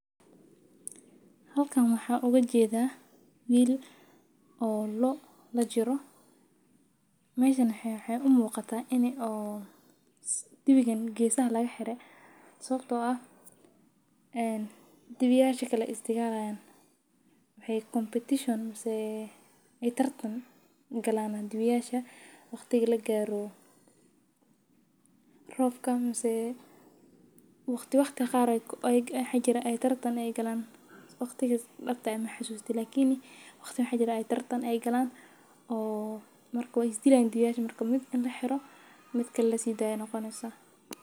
Halkan waxa uga jeeda wiil oo loo la jiro meeshana waxay u muuqata inee oo dibigani geesaha laga xiriir. Sabtoo ah aan dibi yaasha kala istagalaan. Waxay competition si ay tartan galaanaan dibi yaasha waqtiga la gaaro roobka. Mase waqti waqti qaar ay xajira ay tartan ay galaan waqtiga dhabta ama xusuusta. Lakiin waqti waqti xajira ay tartan ay galaan oo marka is diilaan dibi yaasha markaan mid la xiro mid kala sii daayay noqonaya saan.